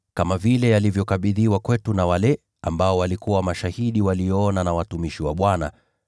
kama vile yalivyokabidhiwa kwetu na wale waliokuwa mashahidi walioyaona na watumishi wa Bwana,